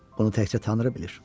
Bunu təkcə Tanrı bilir."